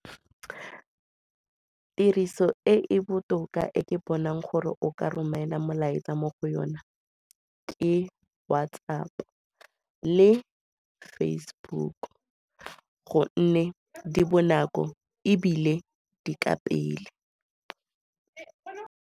Tiriso e e botoka e ke bonang gore o ka romela molaetsa mo go yona keWhatsApp-o le Facebook gonne di bonako ebile di ka pele .